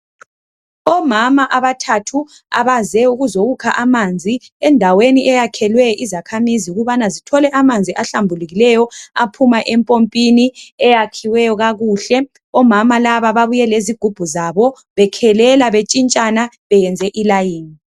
Omama abathathu abaze ukuzokha amanzi endaweni eyakhelwe izakhamizi ukuze zithole amanzi ahlambulukileyo aphuma epompini eyakhiweyo kakuhle, omama laba babuye lezigubhu zabo bekhelela betshintshana beyenze umzila